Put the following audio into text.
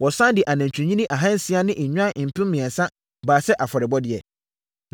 Wɔsane de anantwinini ahansia ne nnwan mpem mmiɛnsa baa sɛ afɔrebɔdeɛ.